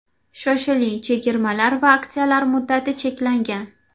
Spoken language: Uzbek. Shoshiling, chegirmalar va aksiya muddati cheklangan!